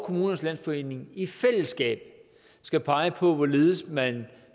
kommunernes landsforening i fællesskab skal pege på hvorledes man